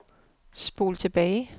spol tilbage